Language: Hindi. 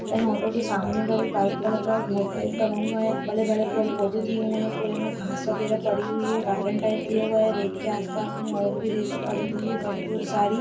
इन ऑटो के सामने उधर एक व्हाइट कलर का घर टाइप बना हुआ है बड़े-बड़े पेड़-पौधे दिए हुए है पूरे में घास वगैरह पड़ी हुई है काटन टाइप में दिया हुआ है रेत के आसपास में और भी रेत पड़ी हुई है बड़ी बहुत सारी --